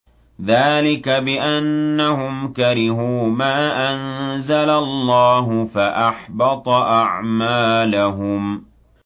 ذَٰلِكَ بِأَنَّهُمْ كَرِهُوا مَا أَنزَلَ اللَّهُ فَأَحْبَطَ أَعْمَالَهُمْ